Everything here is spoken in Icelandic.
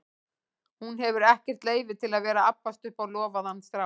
Hún hefur ekkert leyfi til að vera að abbast upp á lofaðan strák.